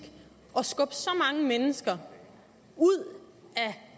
at mennesker ud af